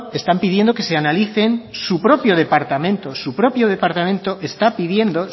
están pidiendo que se analicen su propio departamento su propio departamento está pidiendo